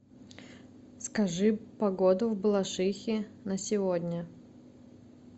скажи погоду в балашихе на сегодня